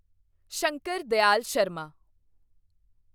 Shankar Dayal Sharma